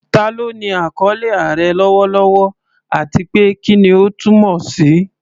Ta ló ní àkọlé "Aare" lọ́wọ́lọ́wọ́, àti pé kí ni ó túmọ̀ sí?